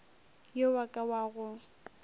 yo wa ka wa go